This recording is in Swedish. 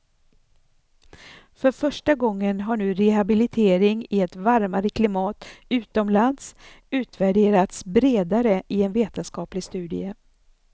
För första gången har nu rehabilitering i ett varmare klimat utomlands utvärderats bredare i en vetenskaplig studie.